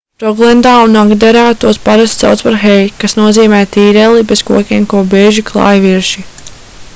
roglendā un agderā tos parasti sauc par hei kas nozīmē tīreli bez kokiem ko bieži klāj virši